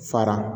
Fara